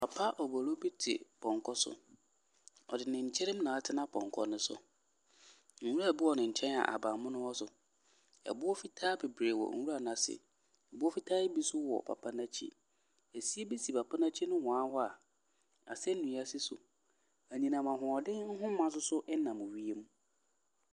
Papa obolo bi te pɔnkɔ so, ɔde ne nkyiri na atena pɔnkɔ ne so. Nwura biɔ ne nkyɛn a ahabanmono wɔ so. Boɔ fitaa bebree wɔ nwura n’ase, boɔ fitaa yi bi nso wɔ papa n’akyi. Asie bi si papa n’akyi nohoa hɔ a asɛnnua si so. Anyinam ahoɔden nhoma nso nam wiem.